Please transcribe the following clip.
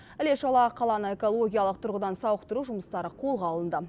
іле шала қаланы экологиялық тұрғыдан сауықтыру жұмыстары қолға алынды